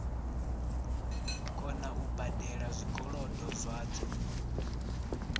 kona u badela zwikolodo zwadzo